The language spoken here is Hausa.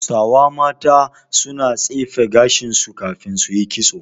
Hausawa mata suna tsefe gashin su kafin su yi kitso.